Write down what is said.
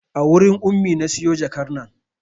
A wurin Ummi na siyo jakar nan